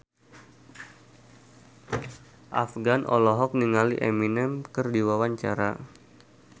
Afgan olohok ningali Eminem keur diwawancara